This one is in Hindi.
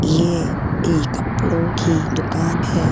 ये एक कपड़ों की दुकान है।